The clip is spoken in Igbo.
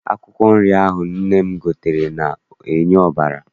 Akwụkwọ nri ahụ nne m gotere na-enye ọbara.